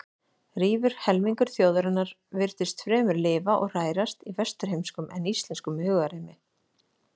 Rífur helmingur þjóðarinnar virtist fremur lifa og hrærast í vesturheimskum en íslenskum hugarheimi.